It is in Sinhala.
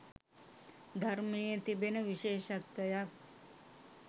ධර්මයේ තිබෙන විශේෂත්වයක්..